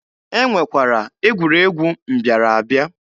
E nwekwara egwuregwu mbịara abịa.